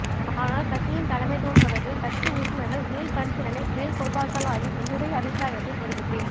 ஆனால் கட்சியின் தலைமைத்துவம் தொடர்பில் கட்சி உறுப்பினர்கள் மீள்பரிசீலனை மேற்கொள்வார்களாயின் என்னுடைய அபிப்பிராயத்தைத் தெரிவிப்பேன்